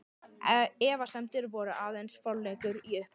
Efasemdir voru aðeins forleikur að uppgjöf.